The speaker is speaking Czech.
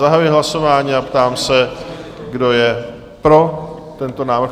Zahajuji hlasování a ptám se, kdo je pro tento návrh?